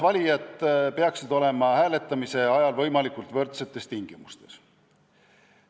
Valijad peaksid olema hääletamise ajal võimalikult võrdsetes tingimustes.